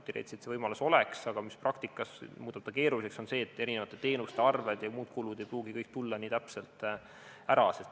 Teoreetiliselt see võimalus oleks, aga praktikas muudab selle keeruliseks see, et eri teenuste arved ja muud kulud ei pruugi kõik tulla nii täpselt.